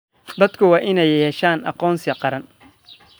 Dadku waa inay yeeshaan aqoonsi qaran.